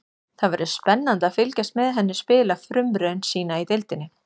Það verður spennandi að fylgjast með henni spila frumraun sína í deildinni.